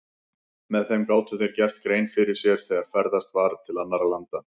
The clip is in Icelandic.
Með þeim gátu þeir gert grein fyrir sér þegar ferðast var til annarra landa.